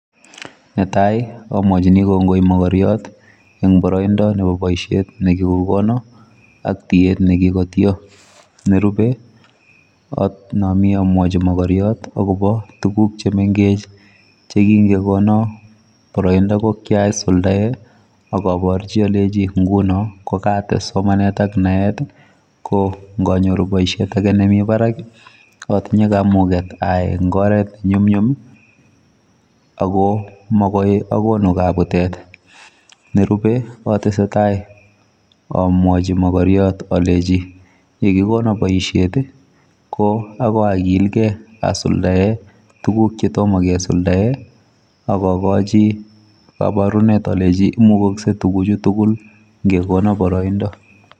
Netai omwochini kongoi mokoriot, eng' boroindo nebo boisiet nikokokon, ak tiet nekikotio. Nerupe onomi omwochi mokoriot akobo tuguk chemengech che yeking'ekonon, boroindo asuldaen. Ak oporchi olei ngunon, kokates somanet ak naet, ko ngonyoru boisiet age nemi parak , otinye kamuget ayai eng' oret nenyumnyum, ago makoi akonu kabutet. Nerupe otesetai omwochi mokoriot olenji, yekikonon boisiet ii, ko akoi okilkei asuldae tuguk chetomo kesuldae. Agogochi koborunet olenji, imukoksei tuguchu tugul, ng'ekonon boroindo.